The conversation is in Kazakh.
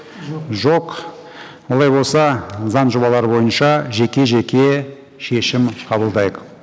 жоқ жоқ олай болса заң жобалары бойынша жеке жеке шешім қабылдайық